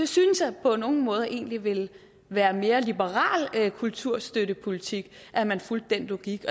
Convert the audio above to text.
synes at det på nogle måder egentlig ville være mere liberal kulturstøttepolitik at man fulgte den logik